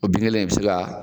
O bin kelen bɛ se ka